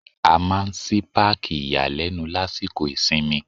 A máa ń ṣí Páàkì ìyàlẹ́nu lásìkò ìsinmi.